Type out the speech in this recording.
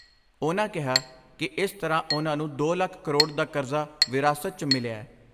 ਉਨ੍ਹਾਂ ਕਿਹਾ ਕਿ ਇਸ ਤਰ੍ਹਾਂ ਉਨ੍ਹਾਂ ਨੂੰ ਦੋ ਲੱਖ ਕਰੋੜ ਦਾ ਕਰਜ਼ਾ ਵਿਰਾਸਤ 'ਚ ਮਿਲਿਐ।